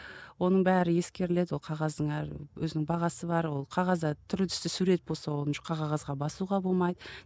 оның бәрі ескеріледі ол қағаздың әр өзінің бағасы бар ол қағазда түрлі түсті сурет болса оны жұқа қағазға басуға болмайды